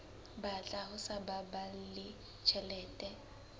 batla ho sa baballe tjhelete